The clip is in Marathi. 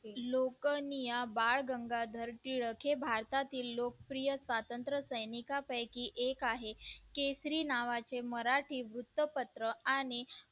लोकांनी या बाळ गंगाधर टिळक हे भारतातील लोकप्रिय स्वातंत्र्य सैनिकापैकी एक आहे केसरी नावाचे मराठी वृत्तपत्र आणि